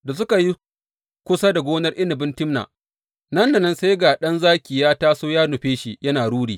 Da suka yi kusa da gonar inabin Timna, nan da nan sai ga ɗan zaki ya taso ya nufe shi yana ruri.